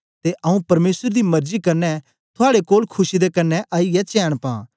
ते आऊँ परमेसर दी मरजी कन्ने थुआड़े कोल खुशी दे कन्ने आईयै चैन पां